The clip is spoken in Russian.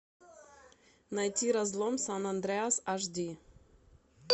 найти разлом сан андреас аш ди